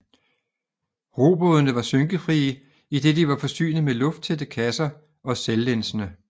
Robådene var skynkefrie idet de var forsynet med lufttætte kasser og selvlænsende